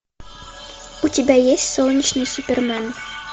у тебя есть солнечный супермен